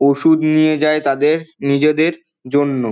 ওষুধ নিয়ে যায় তাদের নিজেদের জন্য।